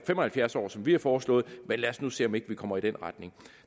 fem og halvfjerds år som vi har foreslået men lad os nu se om vi ikke kommer i den retning